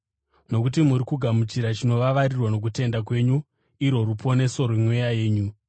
nokuti muri kugamuchira chinovavarirwa nokutenda kwenyu, irwo ruponeso rwemweya yenyu.